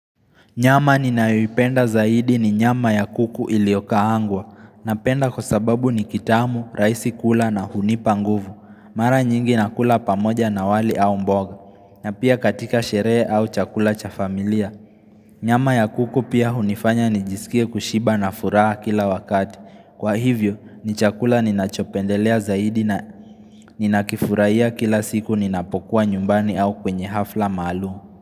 Nyama ninayoipenda zaidi ni nyama ya kuku iliokaangwa. Napenda kwa sababu ni kitamu, rahisi kula na hunipa nguvu. Mara nyingi nakula pamoja na wali au mboga. Na pia katika sherehe au chakula cha familia. Nyama ya kuku pia hunifanya nijisikie kushiba na furaha kila wakati. Kwa hivyo ni chakula ninachopendelea zaidi na ninakifurahia kila siku ninapokuwa nyumbani au kwenye hafla maalumu.